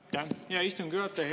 Aitäh, hea istungi juhataja!